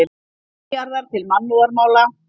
Milljarðar til mannúðarmála